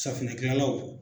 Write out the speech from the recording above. Safinɛ kilalaw.